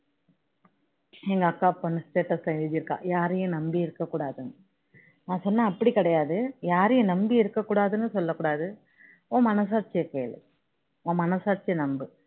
எங்க அக்கா பொண்ணு status ல எழுதி இருக்கா யாரையும் நம்பி இருக்க கூடாதுன்னு நான் சொன்னேன் அப்படி கிடையாது யாரையும் நம்பி இருக்க கூடாதுன்னு சொல்ல கூடாது உன் மனசாட்சிய கேளு உன் மனசாட்சிய நம்பு